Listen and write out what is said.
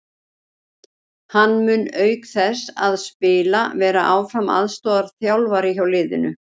Hann mun auk þess að spila vera áfram aðstoðarþjálfari hjá liðinu.